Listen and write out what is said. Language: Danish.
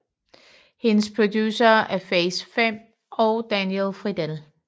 Hendes producere er Phase 5 og Daniel Fridell